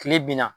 Kile binna